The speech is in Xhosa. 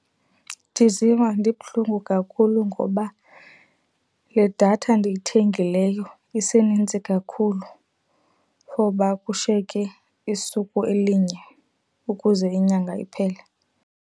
Ndiziva ndibuhlungu kakhulu ngoba le datha ndiyithengileyo isenintsi kakhulu for uba kushiyeke isuku elinye ukuze inyanga iphele.